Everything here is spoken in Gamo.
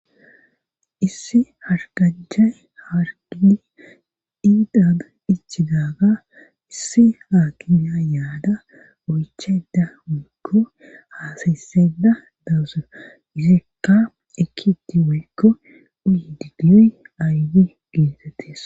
issi harganchay haargine indan ichidaga issi haakimiya yaada oycheda woykko haasayseda dawuse mizekka ekiti woykko uyi digiyoy aaydi geetettes